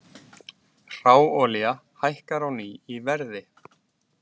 Hráolía hækkar á ný í verði